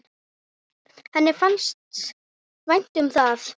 Henni fannst vænt um það.